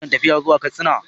Ina kan tafiya zuwa Katsina.